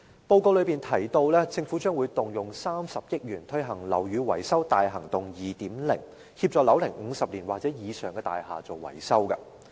報告提到政府將動用30億元推行"樓宇更新大行動 2.0"， 協助樓齡50年或以上的大廈進行維修。